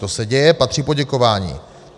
To se děje, patří poděkování.